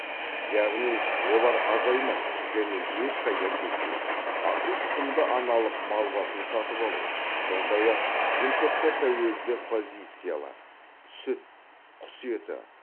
яғни олар азаймайды және ешқайда кетпейді асыл тұқымды аналық мал басын сатып алу сондай ақ импортқа тәуелді позициялар сүт құс еті